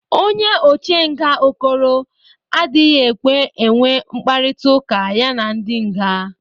Onye oche nga Okoro adịghị ekwe enwe mkparịtaụka ya na ndị nga.